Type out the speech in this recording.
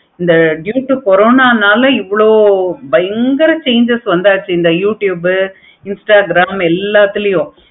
இந்த corona நாலா இவ்வளோ பயங்கர changes வந்தாச்சு இந்த youtube, instagram எல்லாத்துலயும்